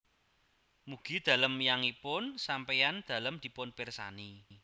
Mugi dalem yangipun sampéyan dalem dipun pirsani